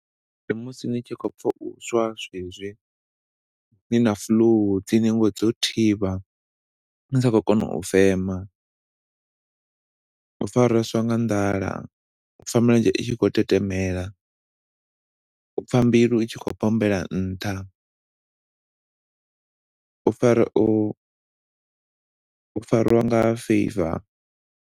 Ndi musi ni tshi khou pfa u swa zwezwi, ni na flu, dzi ningo dzo thivha, ni si khou kona u fema, u fareswa nga nḓala, pfa milenzhe itshi khou tetemela, u pfa mbilu i tshi khou bombela nṱha, u farwa, u farwa nga fever.